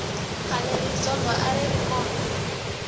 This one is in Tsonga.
khale rizondho a ri ri kona